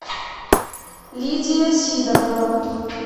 лидия сидорова